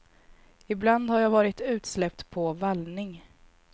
Ibland har jag varit utsläppt på vallning.